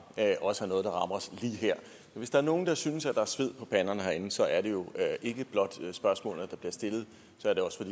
også er noget der rammer os lige her så hvis der er nogen der synes at der er sved på panderne herinde så er det ikke blot af spørgsmålene der bliver stillet så er det også